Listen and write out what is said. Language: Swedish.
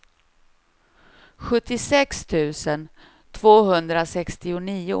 sjuttiosex tusen tvåhundrasextionio